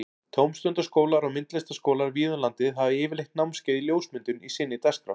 Tómstundaskólar og myndlistaskólar víða um landið hafa yfirleitt námskeið í ljósmyndun í sinni dagskrá.